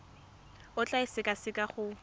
o tla e sekaseka go